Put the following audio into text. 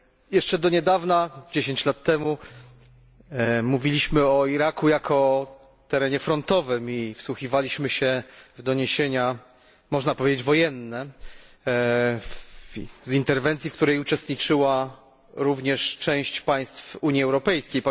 Jeszce do niedawna, dziesięć lat temu, mówiliśmy o Iraku jako o terenie frontowym i wsłuchiwaliśmy się w doniesienia, można powiedzieć, wojenne z interwencji, w której uczestniczyła również część państw Unii Europejskiej.